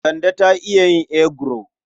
Kande ta iya yin eguro.